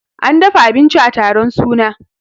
an dafa abinci a taron suna